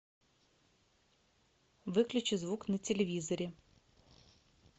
выключи звук на телевизоре